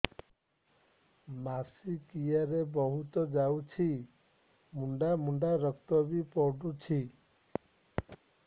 ମାସିକିଆ ରେ ବହୁତ ଯାଉଛି ମୁଣ୍ଡା ମୁଣ୍ଡା ରକ୍ତ ବି ପଡୁଛି